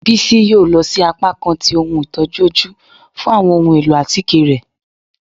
Bisi yóò lọ si apakan tí ohún itojú ojú fún awọn ohún elọ́ atike rẹ.